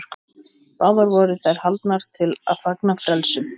Báðar voru þær haldnar til að fagna frelsun.